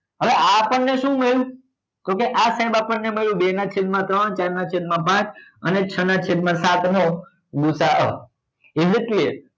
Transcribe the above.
હવે આ આપણને શું મળ્યું તો કે આ સાહેબ આપણને મળ્યું બે નાં છેદ માં ત્રણ ચાર નાં છેદ માં પાંચ અને છ નાં છેદ માં સાત નો ગુ સા અ is it clear